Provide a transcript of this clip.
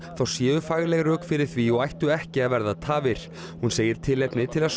þá séu fagleg rök fyrir því og ættu ekki að verða tafir hún segir tilefni til að